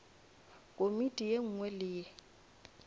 komiti ye nngwe le ye